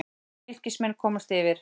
Fylkismenn komast yfir.